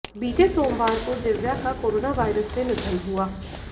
बीते सोमवार को दिव्या का कोरोना वायरस से निधन हुआ